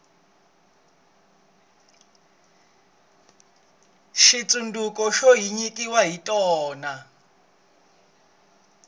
switsundzuko xo hi nyikiwa hi tona